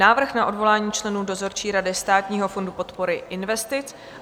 Návrh na odvolání členů dozorčí rady Státního fondu podpory investic